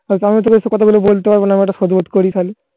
আমি কতা গুল বলতা পারব না